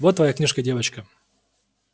вот твоя книжка девочка